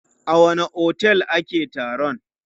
A wanne otel ake taron?